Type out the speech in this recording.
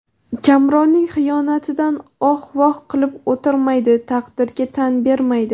Kamronning xiyonatidan oh-voh qilib o‘tirmaydi, taqdirga tan bermaydi.